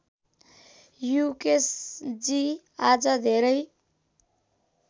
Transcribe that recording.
युकेशजी आज धेरै